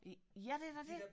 Ja ja det er da det